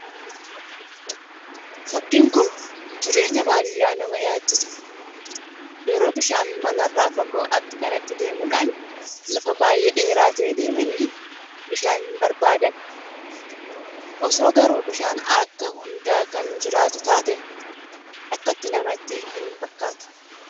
Fakkiin kun jireenya baadiyyaa nama yaadachiisa. Yeroon bishaan manarraa fagoo akka kanatti deemudhaan lafa baay'ee dheeraa ta'ee deemenii bishaan barbaadan. Osoo garuu bishaan bakka hundaa kan jiraatu taate akkatti naamtti hin rakkatu.